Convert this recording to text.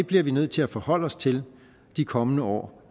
bliver vi nødt til at forholde os til de kommende år